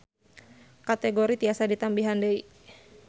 Kategori tiasa ditambihan deui